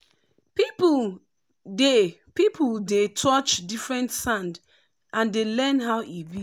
people dey people dey touch different sand and dey learn how e be.